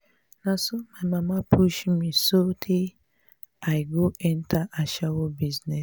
na so my mama push me so tey i go enter ashawo business.